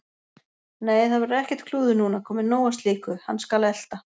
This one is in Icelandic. Nei, það verður ekkert klúður núna, komið nóg af slíku. hann skal elta